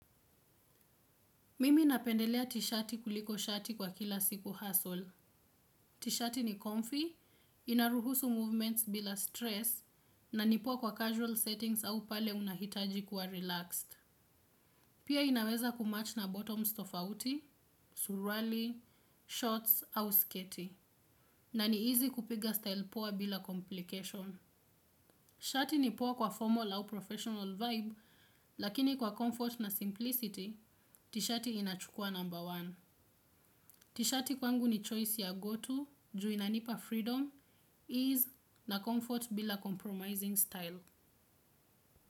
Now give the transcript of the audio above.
Mimi napendelea tishati kuliko shati kwa kila siku hustle. Tishati ni comfy, inaruhusu movements bila stress, na ni poa kwa casual settings au pale unahitaji kuwa relaxed. Pia inaweza kumatch na bottoms tofauti, surwali, shorts au sketi. Na ni easy kupiga style poa bila complication. Shati ni poa kwa formal au professional vibe, lakini kwa comfort na simplicity, tishati inachukua number one. Tishati kwangu ni choice ya go to, ju inanipa freedom, ease na comfort bila compromising style.